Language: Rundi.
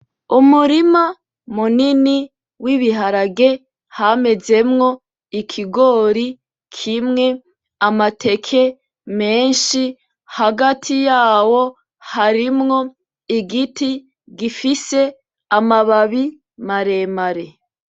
Umurima munini w'ibiharage hamezemwo ikigori kimwe ,amateke menshi hagati yaho harimwo igiti gifise ama babi maremare